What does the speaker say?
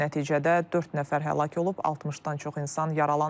Nəticədə dörd nəfər həlak olub, 60-dan çox insan yaralanıb.